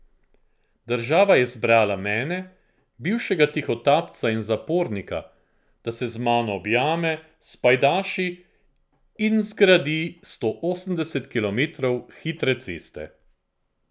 Država je izbrala mene, bivšega tihotapca in zapornika, da se z mano objame, spajdaši in zgradi sto osemdeset kilometrov hitre ceste.